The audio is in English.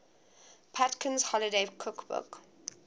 patinkin's holiday cookbook